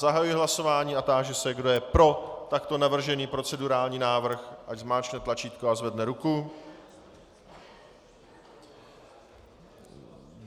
Zahajuji hlasování a táži se, kdo je pro takto navržený procedurální návrh, ať zmáčkne tlačítko a zvedne ruku.